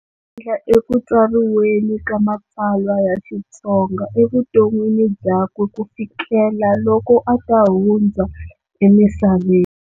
Xandla ekutsariweni ka matsalwa ya Xitsonga evuton'wini byakwe ku fikela loko ata hundza emisaveni.